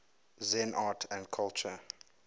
zen art and culture